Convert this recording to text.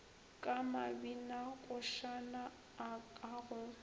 ka mabinakošana a ka go